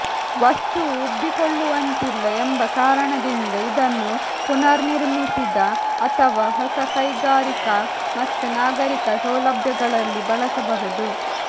ವಸ್ತುವು ಉಬ್ಬಿಕೊಳ್ಳುವಂತಿಲ್ಲ ಎಂಬ ಕಾರಣದಿಂದ ಇದನ್ನು ಪುನರ್ನಿರ್ಮಿಸಿದ ಅಥವಾ ಹೊಸ ಕೈಗಾರಿಕಾ ಮತ್ತು ನಾಗರಿಕ ಸೌಲಭ್ಯಗಳಲ್ಲಿ ಬಳಸಬಹುದು